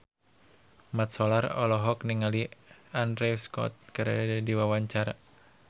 Mat Solar olohok ningali Andrew Scott keur diwawancara